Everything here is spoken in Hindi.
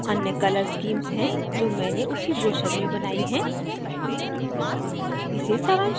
ये दो अन्य colour schemes हैं जो मैंने उसी ब्रोशर में बनाई हैं